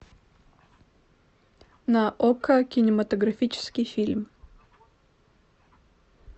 на окко кинематографический фильм